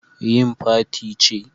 Yin Fati ce